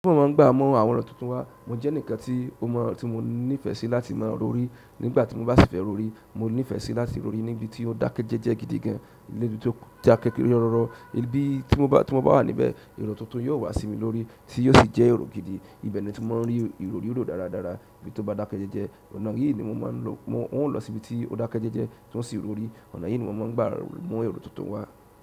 Bí mo bá n gbà mọ àwọn ọ̀rọ̀ tuntun wá, mo jẹ́ ǹkan tí o mọ tí mo nífẹ̀ẹ́ sí láti máa rorí nígbà tí mo bá sì fẹ́ rorí. Mo nífẹ̀ẹ́ sí láti rorí níbi tí ó dákẹ́jẹ́jẹ́ gidi gan, níbi tí ó dà kékeré ọrọ̀rọ̀, ibi tí mo bá wà níbẹ̀, erọ̀ túntùn yóò wá sí mi lórí, tí yóò sì jẹ́ erọ̀ gidi. Ibẹ̀ ni mo ti máa n rí ìrò riro dáradára ibí tó bá dákẹ́jẹ́jẹ́. Ọ̀nà yìí ni mo máa n lọ, mo n lọ sí ibi tí ó dákẹ́jẹ́jẹ́ tí ó ń sì rorí. Ọ̀nà yìí ni mo máa n gbà mu ero tuntun wá.